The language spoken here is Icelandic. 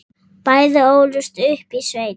Bæði ólust upp í sveit.